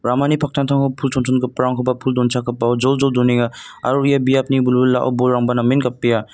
ramani paktangtango pul chonchongiparangkoba pul donchakgipao joljol donenga aro ia biapni wilwilao bolrangba namen gapbea.